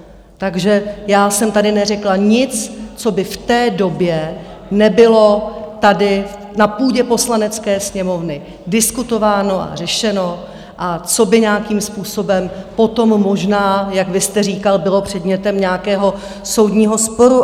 Takže já jsem tady neřekla nic, co by v té době nebylo tady na půdě Poslanecké sněmovny diskutováno a řešeno a co by nějakým způsobem potom možná, jak vy jste říkal, bylo předmětem nějakého soudního sporu.